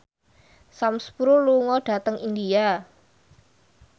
Sam Spruell lunga dhateng India